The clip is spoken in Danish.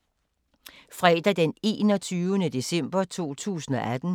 Fredag d. 21. december 2018